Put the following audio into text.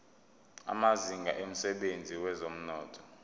amazinga emsebenzini wezomnotho